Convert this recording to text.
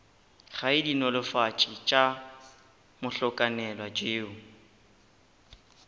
gae dinolofatši tša mohlakanelwa tšeo